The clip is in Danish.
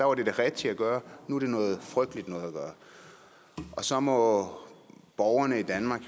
var det det rigtige at gøre og nu er det noget frygteligt noget at gøre så må borgerne i danmark